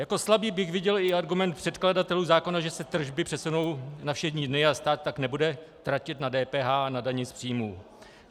Jako slabý bych viděl i argument předkladatelů zákona, že se tržby přesunou na všední dny a stát tak nebude tratit na DPH a na dani z příjmů.